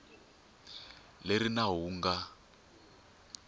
leri nawu lowu wu nga